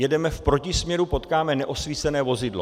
Jedeme v protisměru, potkáme neosvícené vozidlo.